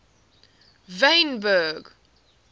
wynberg